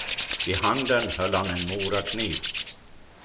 I handen höll han en morakniv.